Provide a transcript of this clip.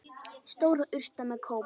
Stór urta með kóp.